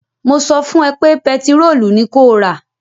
Mo sọ fún ẹ pé pẹtirólù ni kó rà!